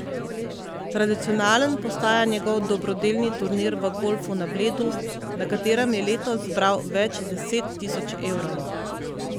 Tradicionalen postaja njegov dobro delni turnir v golfu na Bledu, na katerem je letos zbral več deset tisoč evrov.